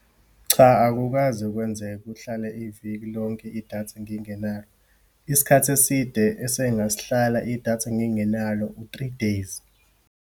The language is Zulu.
Cha, akukaze kwenzeke kuhlale iviki lonke idatha ngingenalo. Isikhathi eside, esengasihlala idatha ngingenalo u-three days.